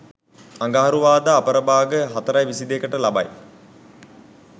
අඟහරුවාදා අපරභාග 04.22 ට ලබයි.